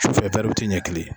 Sufɛ ɲɛ kelen.